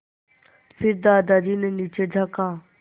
फिर दादाजी ने नीचे झाँका